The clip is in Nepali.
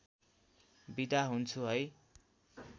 बिदा हुन्छु है